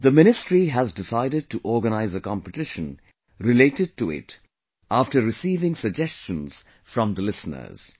The ministry has decided to organize a competition related to it after receiving suggestions from the listeners